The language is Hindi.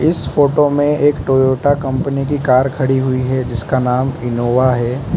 इस फोटो में एक टोयोटा कंपनी की कार खड़ी हुई है जिसका नाम इनोवा है।